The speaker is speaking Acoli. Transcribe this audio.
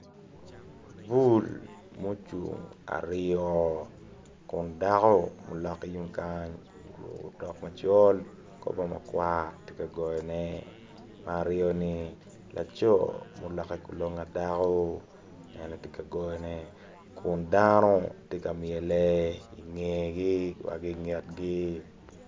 Vul mucung aryo kun dako oloke tung kany oruko otok macol ki kor bongo makwar tye ka goyone ma aryoni laco muloke kulong pa dako ene tye ka goyone kun dano tye ka myel ki ngegi wa ki nget gi